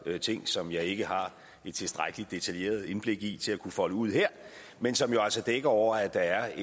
ting som jeg ikke har et tilstrækkelig detaljeret indblik i til at kunne folde ud her men som jo altså dækker over at der er